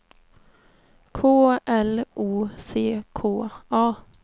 K L O C K A